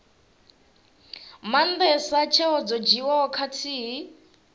maandesa tsheo dzo dzhiiwaho khathihi